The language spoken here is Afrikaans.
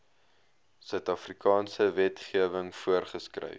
suidafrikaanse wetgewing voorgeskryf